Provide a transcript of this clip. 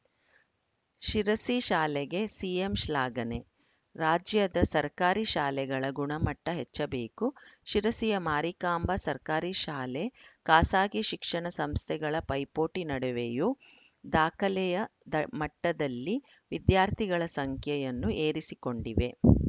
ಶಿರಸಿ ಶಾಲೆಗೆ ಸಿಎಂ ಶ್ಲಾಘನೆ ರಾಜ್ಯದ ಸರ್ಕಾರಿ ಶಾಲೆಗಳ ಗುಣಮಟ್ಟ ಹೆಚ್ಚಬೇಕು ಶಿರಸಿಯ ಮಾರಿಕಾಂಬಾ ಸರ್ಕಾರಿ ಶಾಲೆ ಖಾಸಾಗಿ ಶಿಕ್ಷಣ ಸಂಸ್ಥೆಗಳ ಪೈಪೋಟಿ ನಡುವೆಯೂ ದಾಖಲೆಯ ದ ಮಟ್ಟದಲ್ಲಿ ವಿದ್ಯಾರ್ಥಿಗಳ ಸಂಖ್ಯೆಯನ್ನು ಏರಿಸಿಕೊಂಡಿದೆ